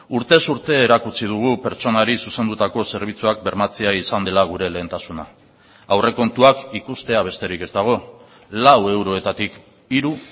urtez urte erakutsi dugu pertsonari zuzendutako zerbitzuak bermatzea izan dela gure lehentasuna aurrekontuak ikustea besterik ez dago lau eurotatik hiru